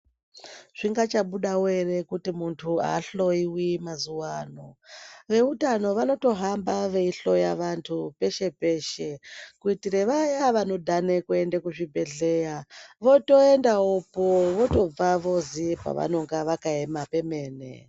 Zvingachabudawo here kuti muntu ahloiwi mazuva ano vehutano vanohamba veihloya vantu peshe peshe kuitira Vaya vanodhana kuenda kuzvibhedhlera votoendayopo votobvayo voziva pavakaema pemene.